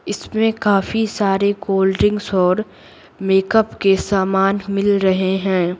इसमें काफी सारे कोल्ड-ड्रिंक्स और मेकअप के सामान मिल रहे हैं।